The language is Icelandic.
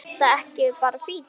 Er þetta ekki bara fínt?